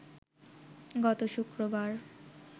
গত শুক্রবার